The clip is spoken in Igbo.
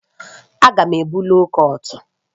Aga m ebu loo kọt